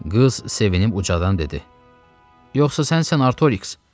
Qız sevinib ucadan dedi: “Yoxsa sənsən Artoriks?”